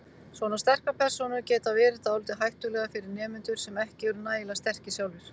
Svona sterkar persónur geti verið dálítið hættulegar fyrir nemendur sem ekki eru nægilega sterkir sjálfir.